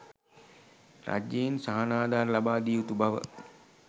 රජයෙන් සහනාධාර ලබා දිය යුතු බව